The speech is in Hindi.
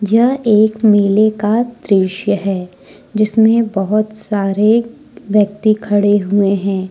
यह एक मेले का दृश्य है जिसमें बहुत सारे व्यक्ति खड़े हुए हैं।